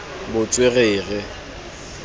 botswerere